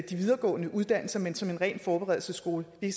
de videregående uddannelser men som ren forberedelsesskole vi